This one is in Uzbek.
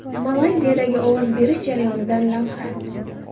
Malayziyadagi ovoz berish jarayonidan lavha.